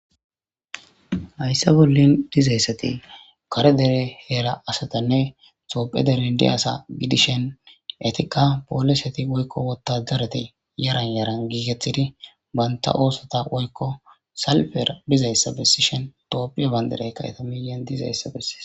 hayssa bollin dizayssati kare dere heera asatanne xophe derendi asa gidishen etikka poolesati woykko wotajareti yaran yaran giikeththidi banta oosota woykko salfer bizayssa bessishen toophiya banderey ka7eta miyan dizayssa bessi